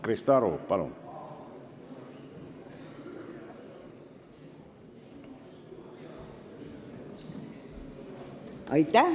Krista Aru, palun!